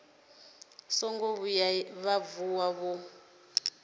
songo vhuya vha vuwa vho